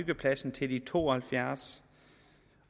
byggepladsen til de er to og halvfjerds